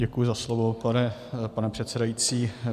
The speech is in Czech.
Děkuji za slovo, pane předsedající.